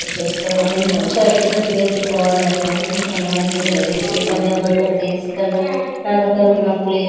చేసేశాం ఇంత చక్కగా చేసి కూడా అన్ని మంచిగా చేసి కళ్యాణం ప్లే --